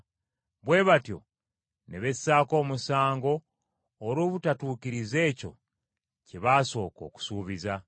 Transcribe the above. bwe batyo ne bessaako omusango olw’obutatuukiriza ekyo kye baasooka okusuubiza.